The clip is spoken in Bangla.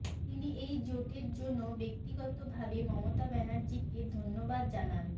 তিনি এই জোটের জন্য ব্যক্তিগতভাবে মমতা ব্যানার্জিকে ধন্যবাদ জানান